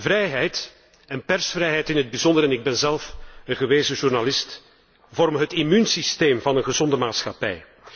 Vrijheid en persvrijheid in het bijzonder en ik ben zelf een gewezen journalist vormen het immuunsysteem van een gezonde maatschappij.